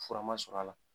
Fura ma sɔrɔ a la